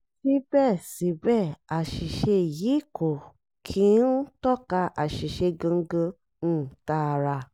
síbẹ̀síbẹ̀ àṣìṣe yìí kò kí n tọ́ka àṣìṣe gangan um tààrà